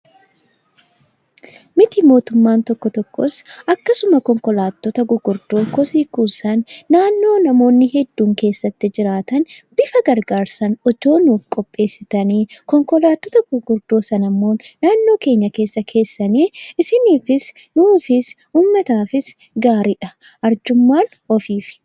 Miti mootummaan tokko tokkos akkasuma konkolaattota gurguddoo kosii kuusan naannoo namoonni hedduun keessatti jiraatan bifa gargaarsaan otoo nuuf qopheessitanii, konkolaattota gurguddoo sanammoo naannoo keenya keessa keessanii isiniifis, nuufis, uummataafis gaariidha. Arjummaan ofiifi!